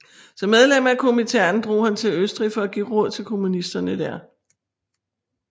Som medlem af Komintern drog han til Østrig for at give råd til kommunisterne der